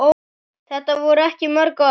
Þetta voru ekki mörg orð.